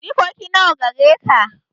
Jikoki nawa gare ka?